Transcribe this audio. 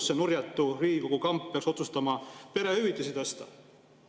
– see nurjatu Riigikogu kamp peaks otsustama perehüvitisi tõsta.